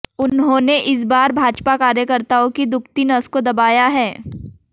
उन्होंने इस बार भाजपा कार्यकर्ताओं की दुखती नस को दबाया है